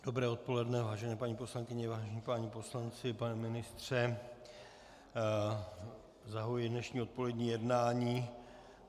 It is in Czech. Dobré odpoledne, vážené paní poslankyně, vážení páni poslanci, pane ministře, zahajuji dnešní odpolední jednání.